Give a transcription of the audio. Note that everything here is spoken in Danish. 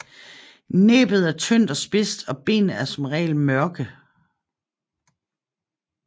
Næbbet er tyndt og spidst og benene er som regel mørke